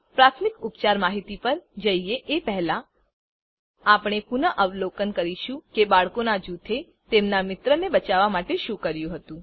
પ્રાથમિક ઉપચાર માહિતી પર જઈએ એ પહેલા આપણે પુનઅવલોકન કરીશું કે બાળકોનાં જુથે તેમનાં મિત્રને બચાવવાં માટે શું કર્યું હતું